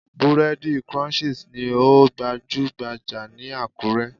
Búrẹ́dì Crunchies ni ó gbajúhbajà ní Àkúré.